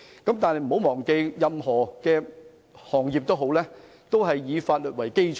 大家不要忘記，任何行業均以法律為基礎。